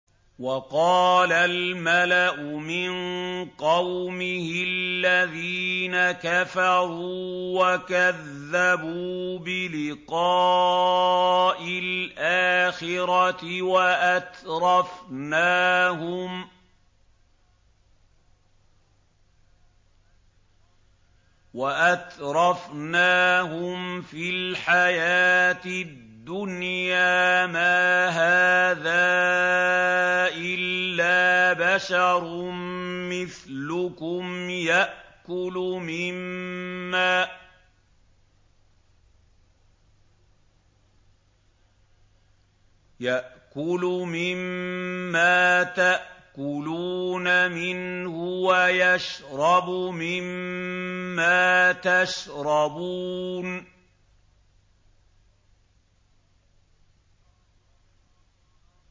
وَقَالَ الْمَلَأُ مِن قَوْمِهِ الَّذِينَ كَفَرُوا وَكَذَّبُوا بِلِقَاءِ الْآخِرَةِ وَأَتْرَفْنَاهُمْ فِي الْحَيَاةِ الدُّنْيَا مَا هَٰذَا إِلَّا بَشَرٌ مِّثْلُكُمْ يَأْكُلُ مِمَّا تَأْكُلُونَ مِنْهُ وَيَشْرَبُ مِمَّا تَشْرَبُونَ